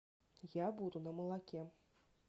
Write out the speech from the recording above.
я буду на молоке